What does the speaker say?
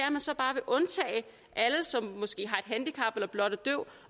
at man så bare vil undtage alle som måske har et handicap eller blot er døv